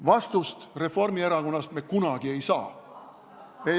Vastust me Reformierakonnast kunagi ei saa.